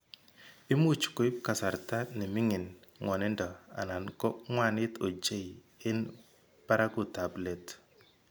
Imuch koip kasarta ne mining' ng'wanindo anan ko ng'wanit ochei eng' barakutab let.